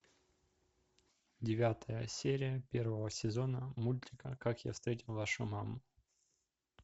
девятая серия первого сезона мультика как я встретил вашу маму